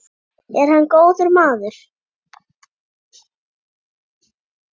Er hann góður maður?